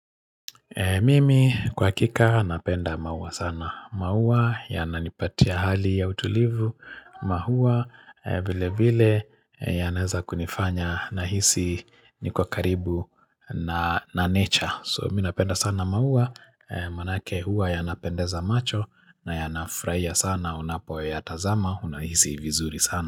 Mimi kwa hakika napenda maua sana. Maua yananipatia hali ya utulivu maua vile vile yanaweza kunifanya na hisi nikiwa karibu na nature. So mimi napenda sana maua manake huwa yanapendeza macho na yanafrahia sana unapo ya tazama unahisi vizuri sana.